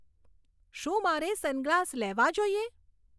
શું મારે sun glass લેવા જોઈએ